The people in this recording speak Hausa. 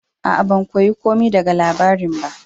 Aa, ban koya komi daga labari'n ba.